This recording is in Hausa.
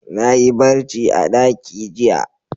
Na yi barci a ɗaki jiya.